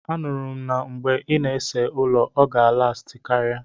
Anuru m na mgbe ị na-ese ụlọ, ọ ga alasti karia.